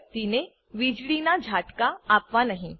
વ્યક્તિને વીજળીનાં ઝાટકા આપવાં નહી